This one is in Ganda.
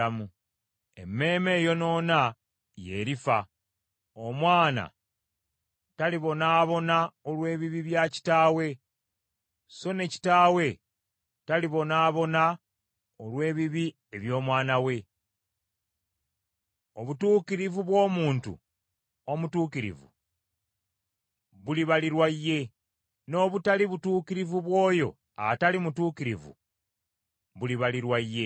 Emmeeme eyonoona ye erifa. Omwana talibonaabona olw’ebibi bya kitaawe, so ne kitaawe talibonaabona olw’ebibi eby’omwana we. Obutuukirivu bw’omuntu omutuukirivu bulibalirwa ye, n’obutali butuukirivu bw’oyo atali mutuukirivu bulibalirwa ye.